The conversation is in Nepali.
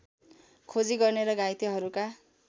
खोजी गर्ने र घाइतेहरूका